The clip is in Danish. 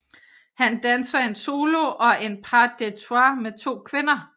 Han danser en solo og en pas des trois med to kvinder